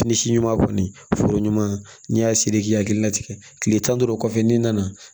Fini si ɲuman kɔni foro ɲuman n'i y'a siri k'i hakilila tigɛ tile tan ni duuru kɔfɛ n'i nana